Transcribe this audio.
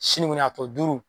Sini kɔni a tɔ duuru